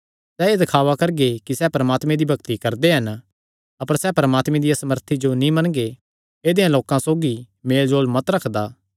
सैह़ एह़ दखावा करगे कि सैह़ परमात्मे दी भक्ति करदे हन अपर सैह़ परमात्मे दिया सामर्थी जो नीं मनगे ऐदेयां लोकां सौगी मेलजोल मत रखा